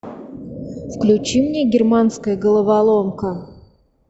включи мне германская головоломка